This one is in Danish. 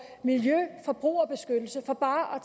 miljø og forbrugerbeskyttelse for bare